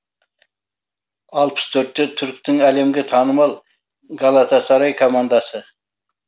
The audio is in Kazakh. алпыс төртте түріктің әлемге танымал галатасарай командасы